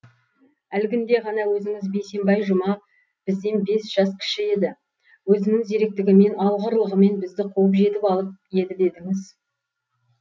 әлгінде ғана өзіңіз бейсенбай жұма бізден бес жас кіші еді өзінің зеректігімен алғырлығымен бізді қуып жетіп алып еді дедіңіз